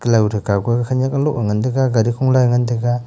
thow kaw ke khenek a bow ga ngan tega gari khola a ngan tega.